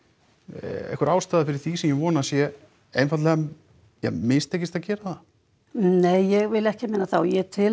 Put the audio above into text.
einhver ástæða fyrir því sem ég vona að sé einfaldlega mistekist að gera það nei ég vil ekki meina það og ég tel